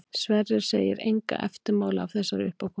Sverrir segir enga eftirmála af þessari uppákomu.